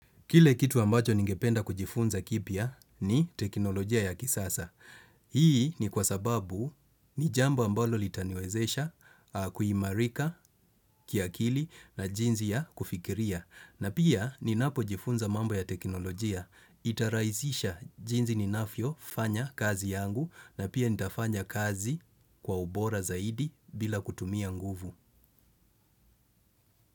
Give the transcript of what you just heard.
Kile kitu ambacho ningependa kujifunza kipya ni teknolojia ya kisasa. Hii ni kwa sababu ni jambo ambalo litaniwezesha, kuimarika, kiakili na jinsi ya kufikiria. Na pia ninapojifunza mambo ya teknolojia. Itaraisisha jinsi ninavyofanya kazi yangu na pia nitafanya kazi kwa ubora zaidi bila kutumia nguvu.